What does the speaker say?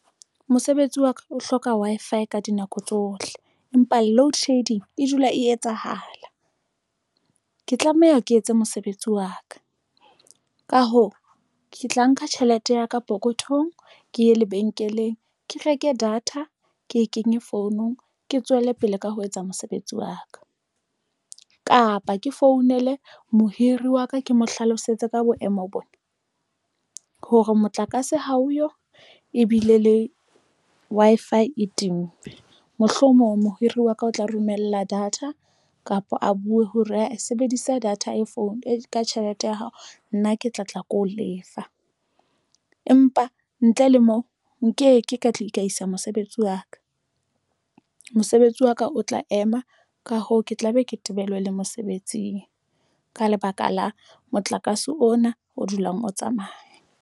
Mosebetsi wa ka o hloka Wi-Fi ka dinako tsohle empa loadshedding e dula e etsahala. Ke tlameha ke etse mosebetsi wa ka, ka hoo ke tla nka tjhelete ya ka pokothong ke ye lebenkeleng, ke reke data ke e kenye founong, ke tswele pele ka ho etsa mosebetsi wa ka, kapa ke founele mohiri wa ka, ke mo hlalosetse ka boemo bona hore motlakase ha oyo ebile le Wi-Fi e timme mohlomong mohiri wa ka o tla romella data kapa a buwe hore a sebedisa data e phone e ka tjhelete ya hao nna ke tla tla ke ho lefa, empa ntle le moo nkeke ka tlisa mosebetsi wa ka, mosebetsi wa ka o tla ema, ka hoo, ke tla be ke tebelwe le mosebetsing. Ka lebaka la motlakase ona o dulang o tsamaya.